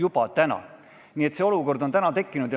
Nii et selline olukord on tekkinud.